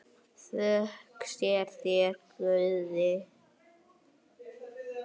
Þökk sé þér, Guði!